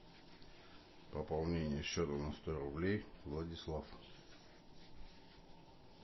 пополнение счета на сто рублей владислав